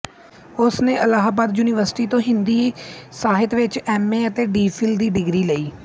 ਉਸ ਨੇ ਅਲਾਹਾਬਾਦ ਯੂਨੀਵਰਸਿਟੀ ਤੋਂ ਹਿੰਦੀ ਸਾਹਿਤ ਵਿੱਚ ਐਮਏ ਅਤੇ ਡੀ ਫਿਲ ਦੀ ਡਿਗਰੀ ਲਈ